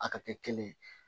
A ka kɛ kelen ye